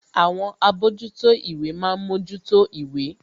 Àwọn àbójútó ìwé ma ń mójútó ìwé